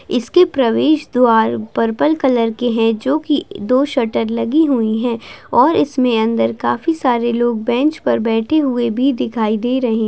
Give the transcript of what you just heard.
इसके प्रवेश द्वार पर्पल कलर के हैं जो की दो शटर लगी हुई हैं और इसमें अंदर काफी सारे लोग बेंच पर बैठे हुए भी दिखाई दे रहे--